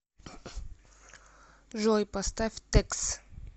джой поставь текс